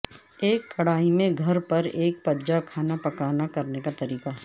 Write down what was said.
ایک کڑاہی میں گھر پر ایک پججا کھانا پکانا کرنے کا طریقہ